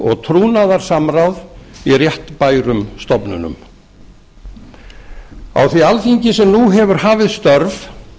og trúnaðarsamráð í réttbærum stofnunum á því þingi sem nú hefur hafið störf